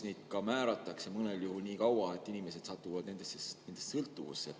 Neid ka määratakse mõnel juhul nii, et inimesed satuvad nendest sõltuvusse.